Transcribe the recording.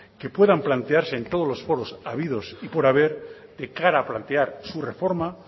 que puedan plantearse en todos los foros habidos y por haber de cara a plantear su reforma